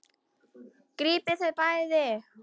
Grípið þau bæði!